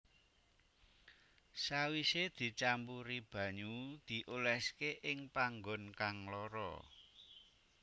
Sawise dicampuri banyu dioleske ing panggon kang lara